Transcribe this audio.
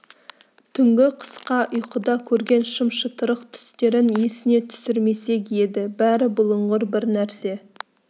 түнгі қысқа ұйқыда көрген шым-шытырық түстерін есіне түсірмек еді бәрі бұлыңғыр бір нәрсе